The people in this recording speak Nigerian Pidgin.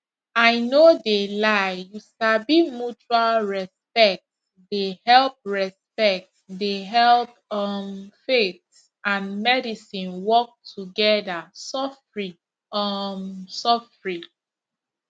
i no de lie you sabi mutual respect de help respect de help um faith and medicine work together sofri um sofri